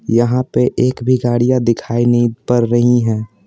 यहां पे एक भी गाड़ियां दिखाई नहीं पर रही हैं।